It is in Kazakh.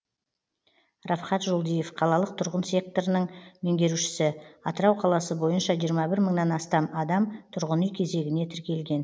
рафхат жолдиев қалалық тұрғын секторының меңгерушісі атырау қаласы бойынша жиырма бір мыңнан астам адам тұрғын үй кезегіне тіркелген